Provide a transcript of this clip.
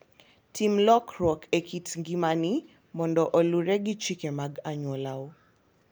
Tim lokruok e kit ngimani mondo oluwre gi chike mag anyuolau.